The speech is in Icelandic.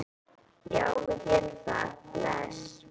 Já, við gerum það. Bless.